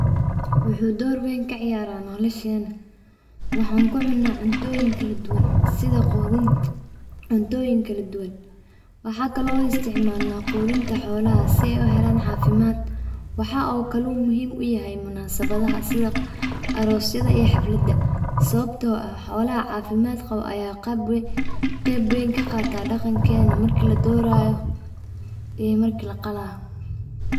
Wuxuu door weyn kaciyaara nolosheena, waxan ku cuna cuntoyin kala duban, sida qudunta cuntoyin kala duban, waxakale on u isticmaalna qudunta xolaha si ay uhelan caafimad ,waxakale uu muhiim u yahay munasabadaha sida arosyada ee xafladaha sababto ah xolaha caafimadka qabo aya qeb weyn kaqaata dhaqankeena markii laduraayo iyo markii laqalayo